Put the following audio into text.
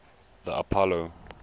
the apollo